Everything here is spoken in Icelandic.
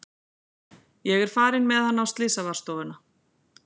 Ég er farin með hann á slysavarðstofuna.